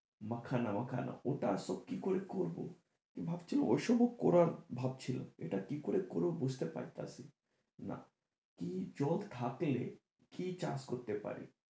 মাখনা মাখনা ওটা সব কি করে করব? তো ভাবছি ও সবও করার ভাবছিলাম এটা কি করে করব বুঝতে পারতাছি না জল থাকলে কি চাষ করতে পারি?